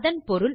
இதன் பொருள்